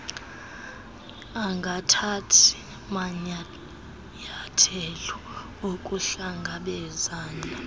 angathathi manyayathelo okuhlangabezana